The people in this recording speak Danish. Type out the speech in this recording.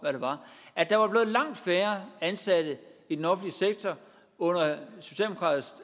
at der var blevet langt færre ansatte i den offentlige sektor under socialdemokratisk